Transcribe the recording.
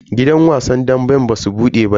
Gidan wasan damben basu bude ba yau.